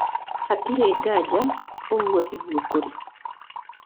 Hatirĩ nganja ũguo tiguo kũrĩ.